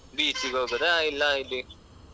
ಬೀಚಿಗೆ ಹೋಗುದಾ ಇಲ್ಲಾ ಇಲ್ಲಿ.